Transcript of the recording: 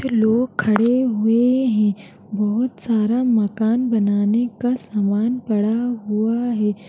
फिर लोग खड़े हुए हैं बहोत सारा मकान बनाने का सामान पड़ा हुआ है।